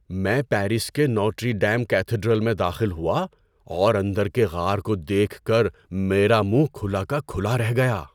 میں پیرس کے Notre Dame cathedral میں داخل ہوا، اور اندر کے غار کو دیکھ کر میرا منہ کھلا کا کھلا رہ گیا۔